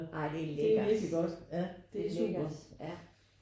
Ej det er lækkert. Det er lækkert ja